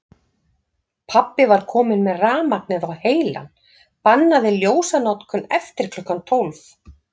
Pabbi var kominn með rafmagnið á heilann, bannaði ljósanotkun eftir klukkan tólf.